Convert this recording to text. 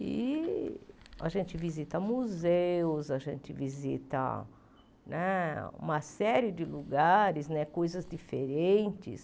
E a gente visita museus, a gente visita né uma série de lugares, coisas diferentes.